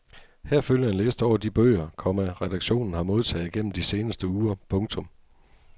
Her følger en liste over de bøger, komma redaktionen har modtaget gennem de seneste uger. punktum